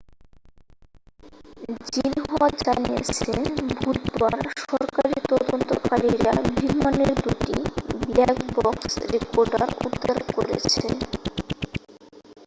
Xinhua জানিয়েছে বুধবার সরকারি তদন্তকারীরা বিমানের দুটি ব্ল্যাক বক্স' রেকর্ডার উদ্ধার করেছে